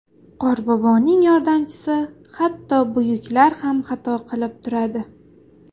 Qorboboning yordamchisi Hatto buyuklar ham xato qilib turadi.